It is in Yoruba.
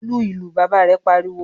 "Lu ìlù!" Bàbá rẹ̀ pariwo.